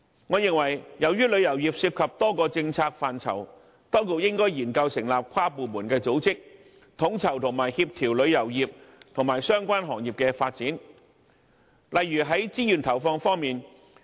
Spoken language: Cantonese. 我認為由於旅遊業涉及多個政策範疇，當局應該研究成立跨部門組織，以便統籌和協調旅遊業及相關行業的發展，例如在資源投放方面。